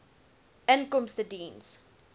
inkomstediens